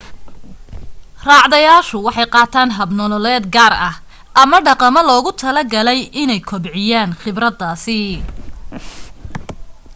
raacdayaashu waxay qaataan hab nololeed gaar ah ama dhaqamo loogu talo galay inay kobciyaan khibradahaas